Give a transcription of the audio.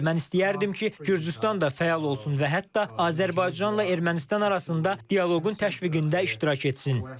Mən istəyərdim ki, Gürcüstan da fəal olsun və hətta Azərbaycanla Ermənistan arasında dialoqun təşviqində iştirak etsin.